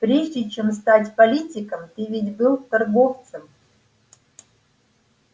прежде чем стать политиком ты ведь был торговцем